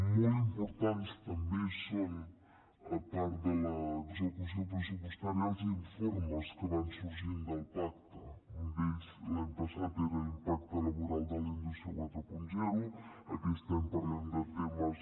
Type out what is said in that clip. molt importants també són a part de l’execució pressupostària els informes que van sorgint del pacte un d’ells l’any passat era l’impacte laboral de la indústria quaranta aquest any parlem de temes